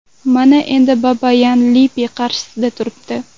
Mana endi Babayan Lippi qarshisida turibdi.